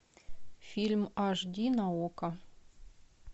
фильм аш ди на окко